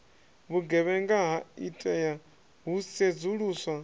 vhugevhenga ha itea hu sedzuluswa